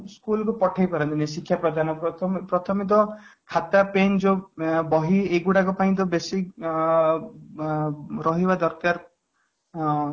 ନା school କୁ ପଠେଇପାରନ୍ତି ନାହିଁ ଶିକ୍ଷା ପ୍ରଦାନ ପ୍ରଥମ ତ ଖାତା pen ଯୋଉ ଅଂ ବହି ଗୁଡ଼ାକ ପାଇଁ basic ଆଁ ରହିବା ଦରକାର ଆଁ